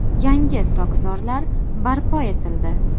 Yangi tokzorlar barpo etildi.